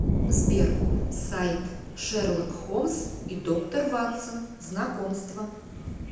сбер сайт шерлок холмс и доктор ватсон знакомство